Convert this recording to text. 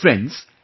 Friends,